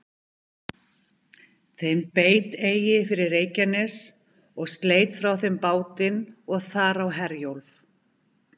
Þeim beit eigi fyrir Reykjanes, og sleit frá þeim bátinn og þar á Herjólf.